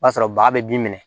O b'a sɔrɔ baga bɛ bin minɛ